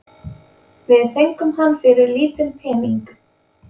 Við fengum hann fyrir lítinn pening